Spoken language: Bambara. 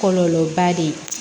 Kɔlɔlɔba de ye